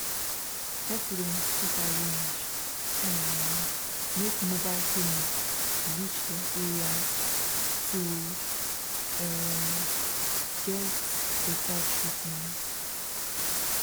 residents fit arrange um make mobile clinics reach their areas to um get better treatment